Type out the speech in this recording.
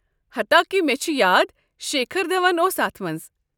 حتاكہِ مےٚ چھُ یاد شیکھر دھون اوس اتھ منٛز۔